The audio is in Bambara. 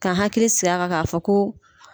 Ka hakili sigi a kan ka fɔ ko.